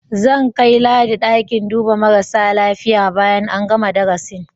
Zan kai Ladi ɗakin duba marasa lafiya bayan an gana darasin.